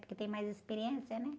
Porque tem mais experiência, né?